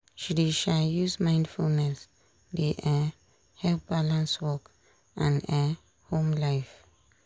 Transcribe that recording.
she dey um use mindfulness dey um help balance work and um home life.